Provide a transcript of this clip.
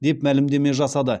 деп мәлімдеме жасады